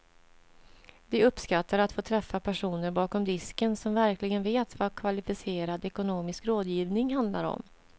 De uppskattar att få träffa personer bakom disken som verkligen vet vad kvalificerad ekonomisk rådgivning handlar om.